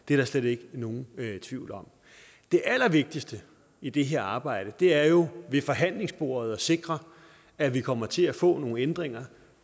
det er der slet ikke nogen tvivl om det allervigtigste i det her arbejde er jo ved forhandlingsbordet at sikre at vi kommer til at få nogle ændringer